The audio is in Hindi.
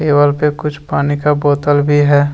टेबल पे कुछ पानी का बोतल भी है।